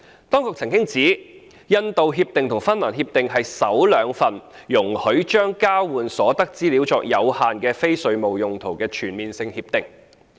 當局曾指出，《印度協定》和《芬蘭協定》是首兩份容許將交換所得的資料作有限的非稅務用途的全面性協定。